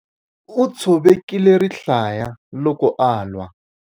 U tshovekile rihlaya loko a lwa.